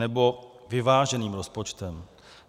Nebo vyváženým rozpočtem.